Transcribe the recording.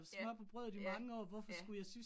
Ja, ja, ja